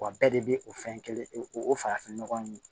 Wa bɛɛ de bɛ o fɛn kelen o o farafin nɔgɔ in